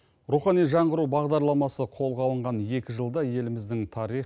рухани жаңғыру бағдарламасы қолға алынған екі жылда еліміздің тарих